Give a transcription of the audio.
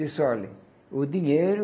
Disse, olhe, o dinheiro